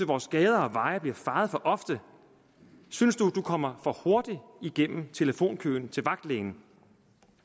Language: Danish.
vores gader og veje bliver fejet for ofte synes du at du kommer for hurtigt igennem telefonkøen til vagtlægen